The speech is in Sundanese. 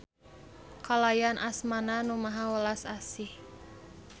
Kalayan asma-Na Nu Maha Welas Asih.